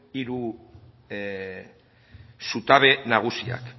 hiru zutabe nagusiak